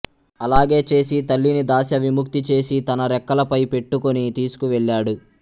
అలాగే చేసి తల్లిని దాస్య విముక్తి చేసి తన రెక్కలపై పెట్టుకొని తీసుకు వెళ్ళాడు